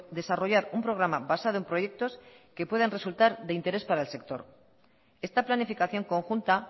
desarrollar un programa basado en proyectos que puedan resultar de interés para el sector esta planificación conjunta